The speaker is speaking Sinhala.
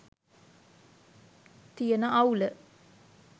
තියන අවුල